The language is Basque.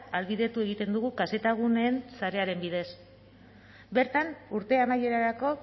ahalbidetu egiten dugu kzguneen sarearen bidez bertan urte amaierarako